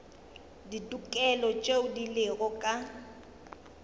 ditokelo tšeo di lego ka